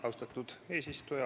Austatud eesistuja!